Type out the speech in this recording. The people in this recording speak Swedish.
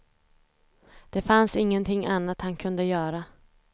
Det fanns ingenting annat han kunde göra.